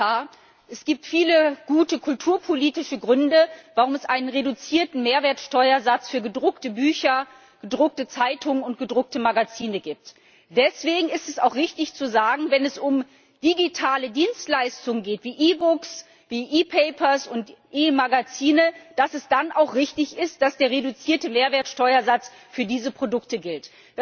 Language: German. Herr Präsident, Herr Kommissar! Es gibt viele gute kulturpolitische Gründe, warum es einen reduzierten Mehrwertsteuersatz für gedruckte Bücher, gedruckte Zeitungen und gedruckte Magazine gibt. Deswegen ist es auch richtig, zu sagen, wenn es um digitale Dienstleistung geht die e books, e papers und e magazines, dass es dann auch richtig ist, dass der reduzierte Mehrwertsteuersatz für diese Produkte gilt.